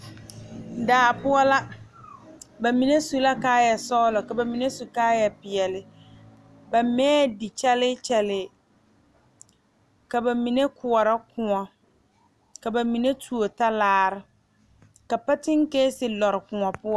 Daa poɔ la ba mime su la kaayɛ sɔgelɔ ka ba mine su kaayɛ peɛle ba mɛɛŋ di kyɛlii kyɛlii ka ba mine koɔrɔ Kóɔ ka ba mine tuo talaare ka patenkeese lɔre Kóɔ poɔ